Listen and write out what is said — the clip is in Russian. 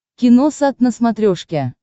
киносат на смотрешке